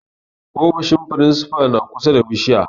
Ofishin firinsifa na kusa da bishiyar.